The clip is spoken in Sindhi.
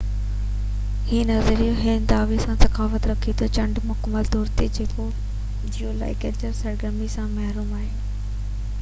هي نظريو هن دعويٰ سان تضاد رکي ٿو تہ چنڊ مڪمل طور تي جيولاجيڪل سرگرمي سان محروم آهي